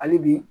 Hali bi